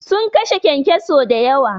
Sun kashe kyankyaso da yawa.